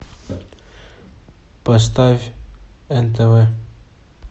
поставь нтв